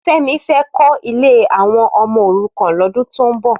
Femi fè kò ilé áwòn òmò órúkàn lòdún tó n bò